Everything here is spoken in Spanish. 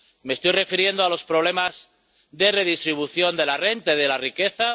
Me estoy refiriendo a los problemas de redistribución de la renta y de la riqueza